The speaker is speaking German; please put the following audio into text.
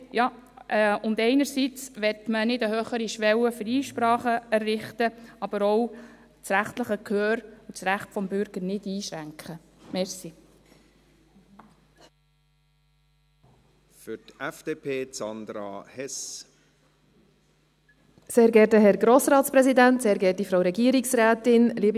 Einerseits will man keine höhere Schwelle für Einsprachen errichten, aber andererseits will man auch das rechtliche Gehör, das Recht des Bürgers nicht einschränken.